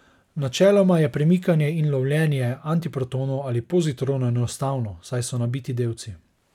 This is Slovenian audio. Načeloma je premikanje in lovljenje antiprotonov ali pozitronov enostavno, saj so nabiti delci.